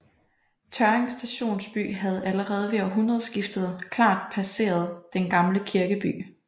Tørring Stationsby havde allerede ved århundredeskiftet klart passeret den gamle kirkeby